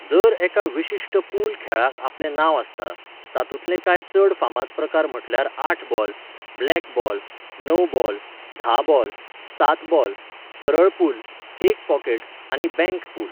दर एका विशिश्ट पूल खेळाक आपलें नांव आसता, तातूंतले कांय चड फामाद प्रकार म्हटल्यार आठ बॉल, ब्लॅक बॉल, णव बॉल, धा बॉल, सात बॉल, सरळ पूल, एक पॉकेट, आनी बँक पूल.